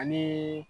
Anii